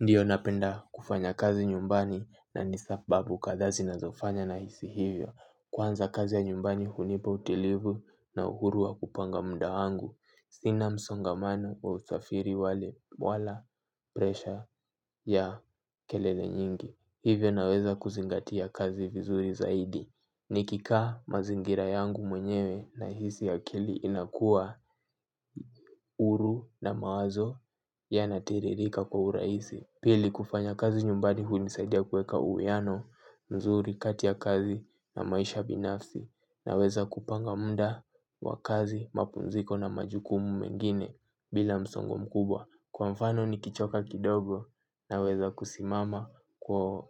Ndiyo napenda kufanya kazi nyumbani na ni sababu kadhaa zinazofanya na hisi hivyo. Kwanza kazi ya nyumbani hunipa utilivu na uhuru wa kupanga muda wangu. Sina msongamano wa usafiri wala presha ya kelele nyingi. Hivyo naweza kuzingatia kazi vizuri zaidi. Nikikaa mazingira yangu mwenyewe nahisi akili inakuwa huru na mawazo yanatiririka kwa urahisi. Pili kufanya kazi nyumbani hunisaidia kuweka uwiano mzuri kati ya kazi na maisha binafsi naweza kupanga muda wa kazi, mapumziko na majukumu mengine bila msongo mkubwa. Kwa mfano nikichoka kidogo naweza kusimama kwa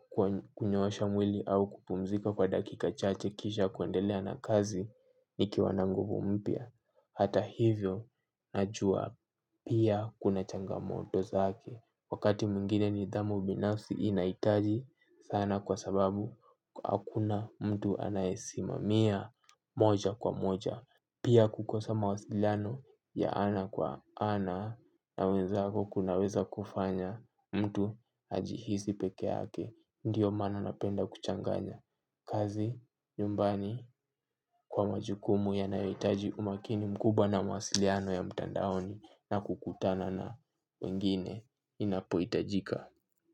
kunyooasha mwili au kupumzika kwa dakika chache kisha kuendelea na kazi nikiwa nanguvu mpya. Hata hivyo najuwa pia kuna changamoto zake wakati mwingine nidhamu binafsi inahitaji sana kwa sababu hakuna mtu anayesimamia moja kwa moja. Pia kukosa mawasiliano ya ana kwa ana unaweza kunaweza kufanya mtu ajihisi peke yake. Ndiyo maana napenda kuchanganya kazi, nyumbani, kwa majukumu yanayohitaji umakini mkubwa na mawasiliano ya mtandaoni na kukutana na wengine inapohitajika.